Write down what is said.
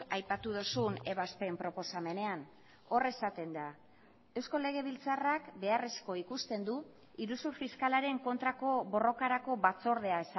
aipatu duzun ebazpen proposamenean hor esaten da eusko legebiltzarrak beharrezko ikusten du iruzur fiskalaren kontrako borrokarako batzordea